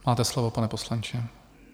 Máte slovo, pane poslanče.